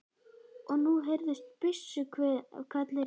Og nú heyrðust byssuhvellir í fjarska.